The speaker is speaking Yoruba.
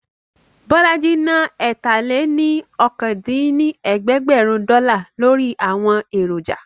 Bọ́lájí ná ẹ̀ta-lé-ní-okòó dín ní ẹ̀ẹ́dẹ́gbẹ́rún dọ́là lórí àwọn èròjà